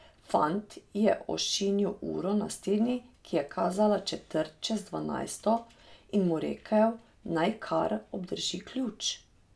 Fant je ošinil uro na steni, ki je kazala četrt čez dvanajsto, in mu rekel, naj kar obdrži ključ.